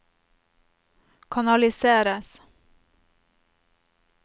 kanaliseres